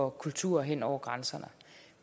af kultur hen over grænserne